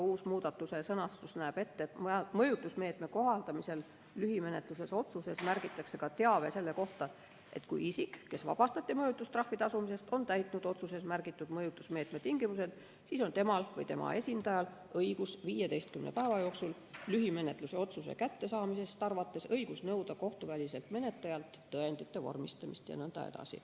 Uus sõnastus näeb ette, et mõjutusmeetme kohaldamisel lühimenetluse otsuses märgitakse ka teave selle kohta, et kui isik, kes vabastati mõjutustrahvi tasumisest, on täitnud otsuses märgitud mõjutusmeetme tingimused, siis on temal või tema esindajal õigus 15 päeva jooksul lühimenetluse otsuse kättesaamisest arvates nõuda kohtuväliselt menetlejalt tõendite vormistamist jne.